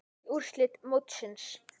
Öll úrslit mótsins